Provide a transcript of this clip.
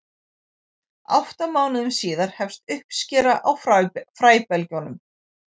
átta mánuðum síðar hefst uppskera á fræbelgjunum